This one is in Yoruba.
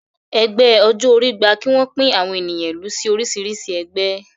Ẹgbẹ́ ọjọ́ orí gba kí wọ́n pín àwọn ènìyàn ìlú sí oríṣìíríṣìí ẹgbẹ́